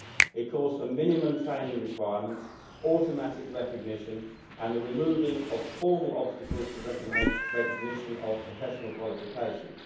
It calls for minimum training requirements, automatic recognition and the removing of formal obstacles to recognition of professional qualifications.